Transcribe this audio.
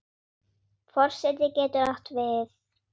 Forseti getur átt við